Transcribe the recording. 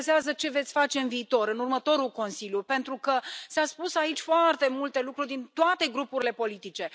Mă interesează ce veți face în viitor, în următorul Consiliu, pentru că s au spus aici foarte multe lucruri din toate grupurile politice.